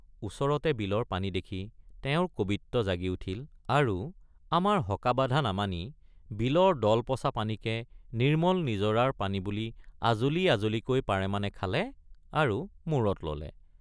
ওচৰতে বিলৰ পানী দেখি তেওঁৰ কবিত্ব জাগি উঠিল আৰু আমাৰ হকাবাধা নামানি বিলৰ দলপঁছা পানীকে নিৰ্মল নিজৰাৰ পানী বুলি আজলি আজলিকৈ পাৰেমানে খালে আৰু মূৰত ললে।